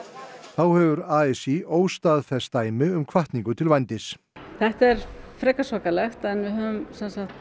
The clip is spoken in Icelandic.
þá hefur a s í óstaðfest dæmi um hvatningu til vændis þetta er frekar svakalegt en við höfum